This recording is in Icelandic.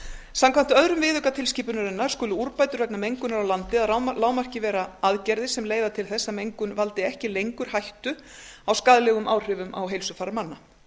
samkvæmt öðrum viðauka tilskipunarinnar skulu úrbætur vegna mengunar á landi að lágmarki vera aðgerðir sem leiða til þess að mengun valdi ekki lengur hættu á skaðlegum áhrifum á heilsufar manna